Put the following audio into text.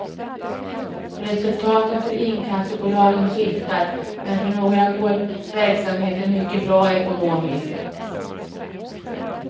Resultaten för inkassobolagen skiftar, men för några går verksamheten mycket bra ekonomiskt.